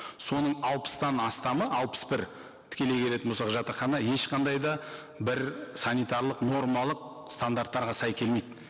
соның алпыстан астамы алпыс бір тікелей келетін болсақ жатақхана ешқандай да бір санитарлық нормалық стандарттарға сай келмейді